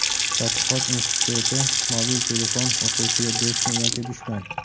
tadqiqot instituti "Mobil telefon – o‘quvchiga do‘stmi yoki dushman?"